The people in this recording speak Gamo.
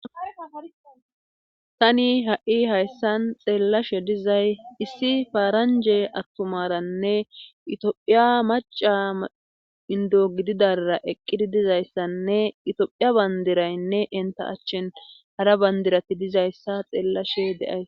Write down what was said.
tani ha7i hayssan xeellashe dizay issi faaranje attumaranne itophiya maca indo gididara eqqidi dizayssanne itophiya bandiraynne enta achchin hara bandirati dizayssa xeellashe deay